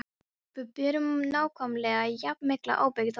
Við berum nákvæmlega jafn mikla ábyrgð á því.